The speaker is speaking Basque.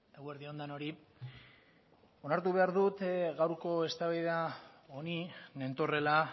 eguerdi on denoi onartu behar dut gaurko eztabaida honi nentorrela